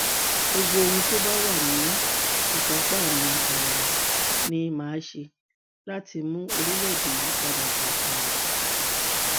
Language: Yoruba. gbogbo ohun tó bá wà ní ìkápá mi um ni mà á ṣe láti mú orílẹèdè yìí padà bọ um sípò